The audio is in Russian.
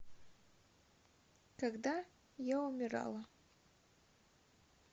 когда я умирала